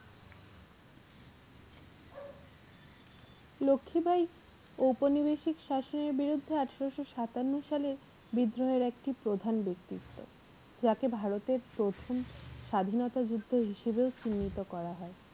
লক্ষীবাঈ ঔপনিবেশিক শাসনের বিরুদ্ধে আঠারোশো সাতান্ন সালে বিদ্রোহের একটি প্রধান ব্যক্তি ছিলেন যাকে ভারতের প্রথম স্বাধীনতা যুদ্ধের হিসাবেও চিহ্নিত করা হয়।